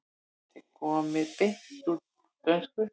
Þetta er komið beint úr dönsku.